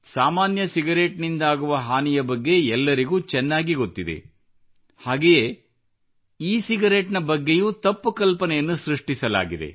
ಸಾಮಾನ್ಯ ಸಿಗರೇಟ್ ನಿಂದಾಗುವ ಹಾನಿಯ ಬಗ್ಗೆ ಎಲ್ಲರಿಗೂ ಚೆನ್ನಾಗಿ ಗೊತ್ತಿದೆ ಹಾಗೆಯೇ ಇ ಸಿಗರೇಟ್ ಬಗ್ಗೆಯೂ ತಪ್ಪು ಕಲ್ಪನೆಯನ್ನು ಸೃಷ್ಟಿಸಲಾಗಿದೆ